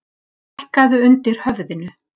Hækkaðu undir höfðinu.